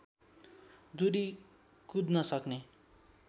दूरी कुद्न सक्ने